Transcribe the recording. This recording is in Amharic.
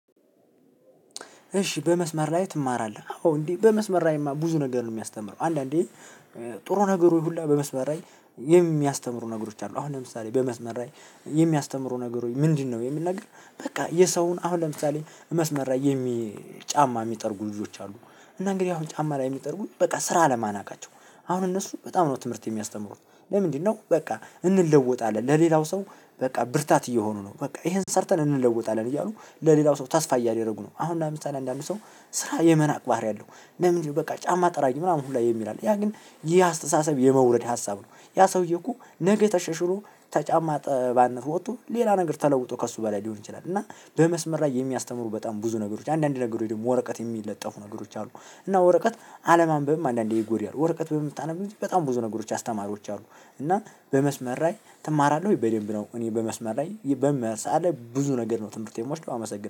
እሺ በመስመር ላይ ትማራለህ አዎ እንዴ በመስመር ላይማ ብዙ ነገር ነው ሚያስተምረው አንድአንዴ። ጥሩ ነገሩ ሁሉ በመስመር ላይ የሚያስተምሩ ነገሮች አሉ አሁን ለምሳሌ በመስመር ላይ የሚያስተምሩ ነገሮች ምንድነው? የሚል ነገር በቃ የሰውን አሁን ለምሳሌ መስመር የሚ ጫማ ሚጠርጉ ልጆች አሉ። እና እንግዲህ አሁን ጫማ ላይ ሚጠርጉኝ በቃ ስራ አለመናቃቸው አሁን እነሱ በጣም ነው ትምህርት የሚያስተምሩት። ለምንድነው? በቃ እንለወጣለን ለሌላው ሰው። በቃ ብርታት እየሆኑ ነው በቃ ይሄን ሰርተን እንለወጣለን እያሉ ለሌላው ሰው ተስፋ እያደረጉ ነው። አሁን ለምሳሌ አንዳንድ ሰው ስራ የመናቅ ባህሪ አለው። ለምን በቃ ጫማ ጠራጊ ምናምን ሁላ የሚል አለ። ያ ግን ይህ አስተሳሰብ የመውረድ ሀሳብ ነው። ያ ሰውዬ እኮ ነገ ተሻሽሎ ተጫማ አጠባነት ወጥቶ ሌላ ነገር ተለውጦ ከእሱ በላይ ሊሆን ይችላል። እና በመስመር ላይ የሚያስተምሩ በጣም ብዙ ነገሮች አንዳንዴ ነገሮች ወረቀት የሚለጠፉ ነገሮች አሉ። እና ወረቀት አለማንበብም አንዳንዴ ይጎዳል። ወረቀት በምታነብ ጊዜ በጣም ብዙ ነገሮች አስተማሪዎች አሉ። እና በመስመር ላይ ትማራለህ በደንብ ነው። እኔ በመስመር ላይ በመሳለ ብዙ ነገር ነው ትምህርት የምወስደው አመሰግናለሁ።